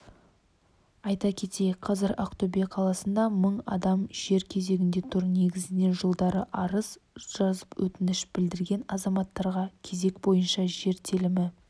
айта кетейік қазір ақтөбе қаласында мың адам жер кезегінде тұр негізінен жылдары арыз жазып өтініш білдірген азаматтарға кезек бойынша жер телімі